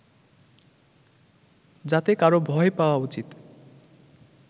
যাতে কারো ভয় পাওয়া উচিত